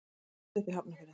Ég ólst upp í Hafnarfirði.